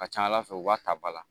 Ka ca ala fɛ u b'a ta ba la